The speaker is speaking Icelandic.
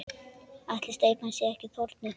Ætli steypan sé ekki þornuð?